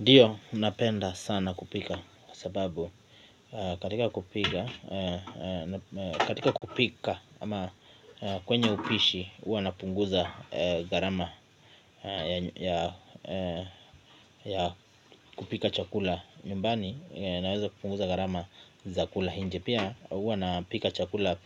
Dio napenda sana kupika sababu katika kupika ama kwenye upishi huwa napunguza garama ya kupika chakula. Nyumbani naweza kupunguza garama za kula hinje pia uwa napika chakula.